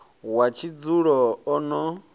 wa tshidzulo o no a